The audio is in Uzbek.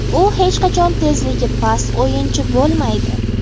U hech qachon tezligi past o‘yinchi bo‘lmaydi.